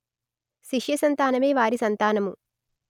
శిష్యసంతానమే వారి సంతానము